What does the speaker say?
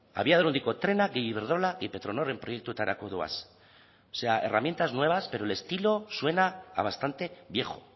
abiadura handiko trena gehi iberdrola gehi petronorren proiektutarako doaz o sea herramientas nuevas pero el estilo suena a bastante viejo